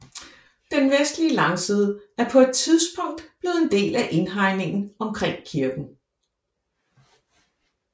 Den vestlige langside er på et tidspunkt blevet en del af indhegningen omkring kirken